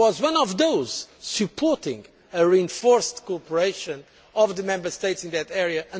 I was one of those supporting a reinforced cooperation of the Member States in that area.